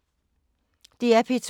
DR P2